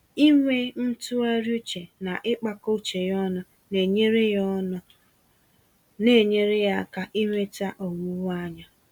Ịnwe ntụgharị uche, na ịkpakọ uche ya ọnụ, naenyere ya ọnụ, naenyere ya áká inweta owuwe-anya.